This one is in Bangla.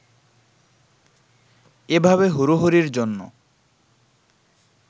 এভাবে হুড়োহুড়ির জন্য